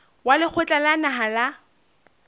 wa lekgotla la naha la